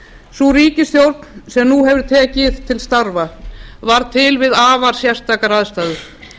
sú ríkisstjórn sem nú hefur tekið til starfa varð til við afar sérstakar aðstæður